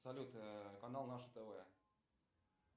салют канал наше тв